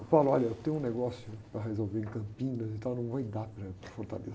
olha, eu tenho um negócio para resolver em Campinas, então eu não vai dar para ir para Fortaleza.